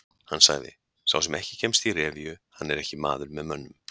Hann sagði: Sá sem ekki kemst í revíu, hann er ekki maður með mönnum.